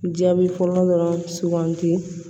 Jaabi fɔlɔ dɔrɔn sugandi